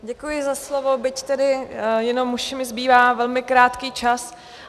Děkuji za slovo, byť tedy jenom už mi zbývá velmi krátký čas.